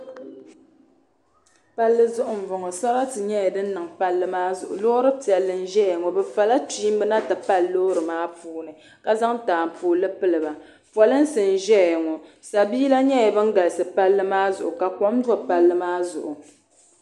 Palli zuɣu mbɔŋɔ sarati nyɛla dini niŋ palli maa zuɣu loori piɛlli n zaya ŋɔ bi va la kpiimba na ti pali loori maa puuni ka zaŋ taapoli pili ba polinsi n zɛya ŋɔ sabiila nyɛla bini galisi palli maa zuɣu ka kom do palli maa zuɣu.